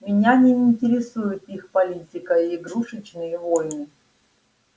меня не интересует их политика и игрушечные войны